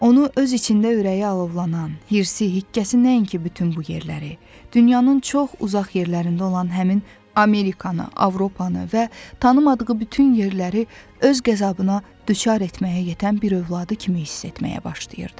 Onu öz içində ürəyi alovlanan, hirsi, hikkəsi nəinki bütün bu yerləri, dünyanın çox uzaq yerlərində olan həmin Amerikanı, Avropanı və tanımadığı bütün yerləri öz qəzabına düçar etməyə yetən bir övladı kimi hiss etməyə başlayırdı.